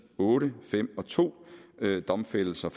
otte fem og to domfældelser